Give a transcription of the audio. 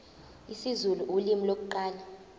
isizulu ulimi lokuqala